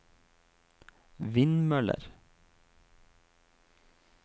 vindmøller